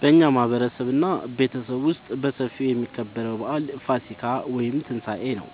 በእኛ ማህበረሰብ እና ቤተሰብ ውስጥ በሰፊው የሚከበረው በአል ፋሲካ(ትንሳኤ) ነው።